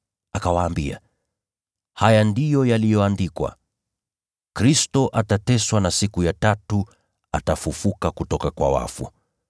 Akawaambia, “Haya ndiyo yaliyoandikwa: Kristo atateswa na siku ya tatu atafufuka kutoka kwa wafu.